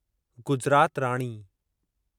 Gujarat Rani